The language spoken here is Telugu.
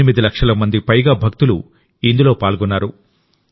ఎనిమిది లక్షల మందికి పైగా భక్తులు ఇందులో పాల్గొన్నారు